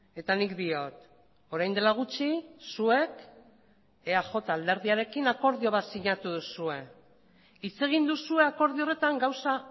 eta nik diot orain dela gutxi zuek eaj alderdiarekin akordio bat sinatu duzue hitz egin duzue akordio horretan gauza